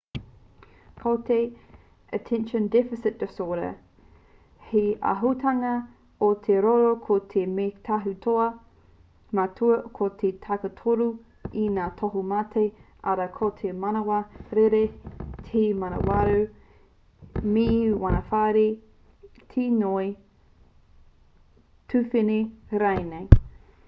ko te attention deficit disorder he āhuatanga o te roro ko te mea tautohu matua ko te takitoru o ngā tohumate arā ko te manawa rere te manawarau me te manawarahi te ngoi tuwhene rānei